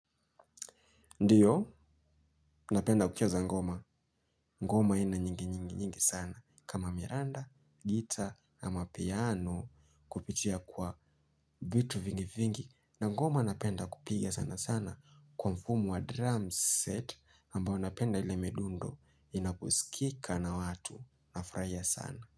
Ndiyo, napenda kucheza ngoma. Ngoma aina nyingi nyingi nyingi sana. Kama miranda, gita, ama piano kupitia kwa vitu vingi vingi. Na ngoma napenda kupiga sana sana kwa mfumo wa drum set ambao napenda ile midundo inaposikika na watu. Nafurahia sana.